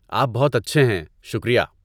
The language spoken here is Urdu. آپ بہت اچھے ہیں! شکریہ!